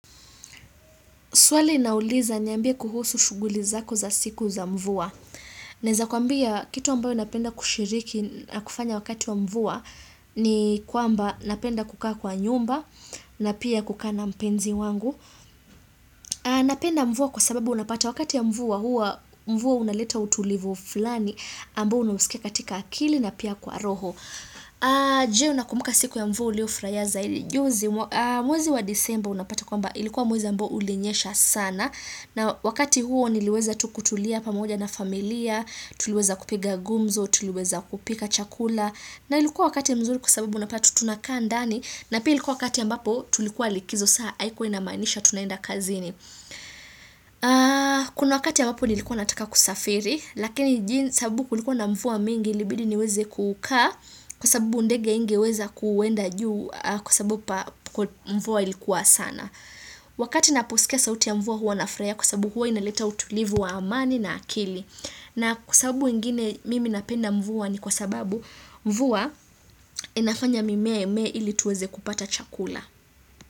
Swali inauliza niambie kuhusu shughuli zako za siku za mvua. Naeza kuambia kitu ambayo napenda kushiriki na kufanya wakati wa mvua ni kwamba napenda kukaa kwa nyumba na pia kukaa na mpenzi wangu. Napenda mvua kwa sababu unapata wakati ya mvua hua mvua unaleta utulivu fulani ambao unausikia katika akili na pia kwa roho. Je unakumbuka siku ya mvua uliofurahia zaidi. Mwezi wa disemba unapata kwamba ilikuwa mwezi ambao ulinyesha sana. Na wakati huo niliweza tu kutulia pamoja na familia, tuliweza kupiga gumzo, tuliweza kupika chakula na ilikuwa wakati mzuri kwa sababu unapata tunakaa ndani na pia ilikua wakati ambapo tulikuwa likizo saa haikua inamaanisha tunaenda kazini. Kuna wakati ambapo nilikuwa nataka kusafiri lakini sababu kulikuwa na mvua mingi ilibidi niweze kukaa kwa sababu ndege haingeweza kuenda juu kwa sababu mvua ilikuwa sana. Wakati naposikia sauti ya mvua huwa nafuraia kwa sababu huwa inaleta utulivu wa amani na akili na kwa sababu ingine mimi napenda mvua ni kwa sababu mvua inafanya mimea imee ili tuweze kupata chakula.